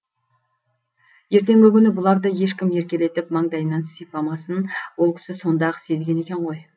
ертеңгі күні бұларды ешкім еркелетіп маңдайынан сипамасын ол кісі сонда ақ сезген екен ғой